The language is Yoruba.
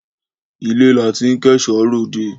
Ilé là tí n kò èso rẹ òde